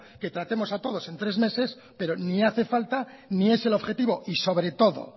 que tratemos a todos en tres meses pero ni hace falta ni es el objetivo y sobre todo